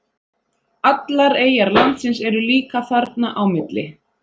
Allar eyjar landsins eru líka þarna á milli.